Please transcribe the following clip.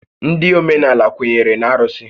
Ndị óménàlà kwenyere na arụsị